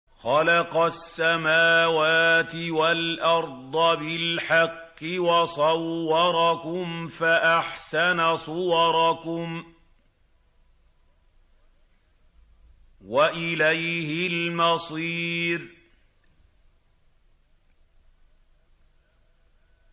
خَلَقَ السَّمَاوَاتِ وَالْأَرْضَ بِالْحَقِّ وَصَوَّرَكُمْ فَأَحْسَنَ صُوَرَكُمْ ۖ وَإِلَيْهِ الْمَصِيرُ